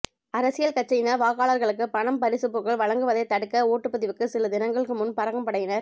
அரசியல் கட்சியினர் வாக்காளர்களுக்கு பணம் பரிசு பொருட்கள் வழங்குவதை தடுக்க ஓட்டுப்பதிவுக்கு சில தினங்களுக்கு முன் பறக்கும் படையினர்